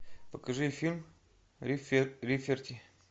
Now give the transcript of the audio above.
покажи фильм рафферти